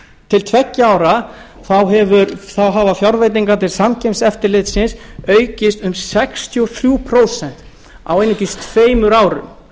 til tveggja ára hafa fjárveitingar til samkeppniseftirlitsins aukist um sextíu og þrjú prósent á einungis tveimur árum